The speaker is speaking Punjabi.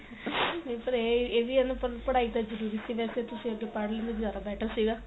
ਪਰ ਇਹ ਇਹ ਵੀ ਏ ਨਾ ਪੜਾਈ ਤਾਂ ਜਰੂਰੀ ਸੀ ਵੇਸੇ ਤੁਸੀਂ ਅਗੇ ਪੜ ਲੋ ਜਿਆਦਾ better ਸੀਗਾ